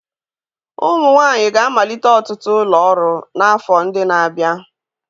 Ụmụ nwanyị ga-amalite ọtụtụ ụlọ ọrụ n'afọ ndị na-abịa